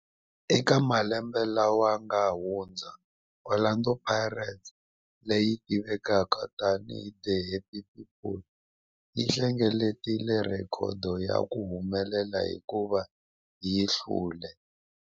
Eka malembe lawa yanga hundza, Orlando Pirates, leyi tivekaka tani hi 'The Happy People', yi hlengeletile rhekhodo ya ku humelela hikuva yi hlule